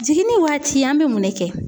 Jiginni waati an bɛ mun ne kɛ?